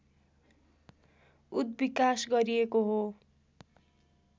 उद्विकास गरिएको हो